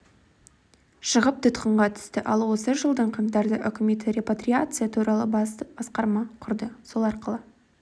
шығып тұтқынға түсті ал осы жылдың қаңтарда үкіметі репатриация туралы бас басқарма құрды сол арқылы